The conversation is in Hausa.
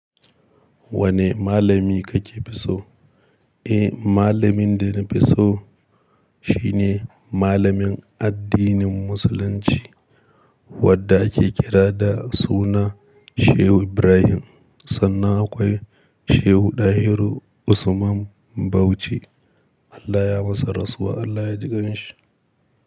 Wane malami kake fi so? Eh, malamin da na fi so shine malamin addinin Musulunci. Wanda ake kira da suna Shehu Ibrahim. Sannan akwai Shehu Dahiru Usman Bauchi. Allah ya masa rasuwa, Allah ya jikan shi.